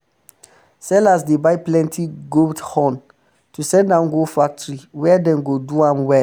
sellers dey buy plenti goat horn to send am go factory where dem go do am well